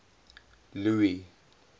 louis